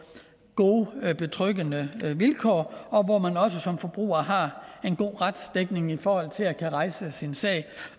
gode betryggende vilkår hvor man også som forbruger har en god retsdækning i forhold til at kunne rejse sin sag